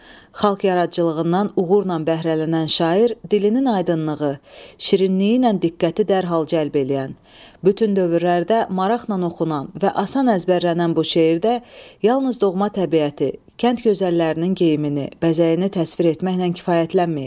Xalq yaradıcılığından uğurla bəhrələnən şair dilinin aydınlığı, şirinliyi ilə diqqəti dərhal cəlb eləyən, bütün dövrlərdə maraqla oxunan və asan əzbərlənən bu şeirdə yalnız doğma təbiəti, kənd gözəllərinin geyimini, bəzəyini təsvir etməklə kifayətlənməyib.